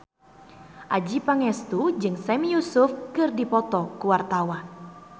Adjie Pangestu jeung Sami Yusuf keur dipoto ku wartawan